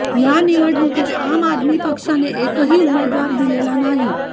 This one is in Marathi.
या निवडणुकीत आम आदमी पक्षाने एकही उमेदवार दिलेला नाही